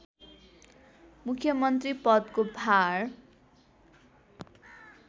मुख्यमन्त्री पदको भार